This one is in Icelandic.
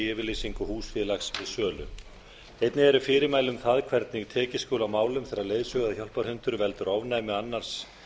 yfirlýsingu húsfélags við sölu einnig eru fyrirmæli um það hvernig tekið skuli á málum þegar leiðsögu og hjálparhundur veldur ofnæmi annars